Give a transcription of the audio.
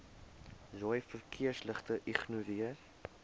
rooi verkeersligte ignoreer